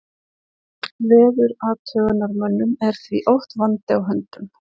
Veðurathugunarmönnum er því oft vandi á höndum.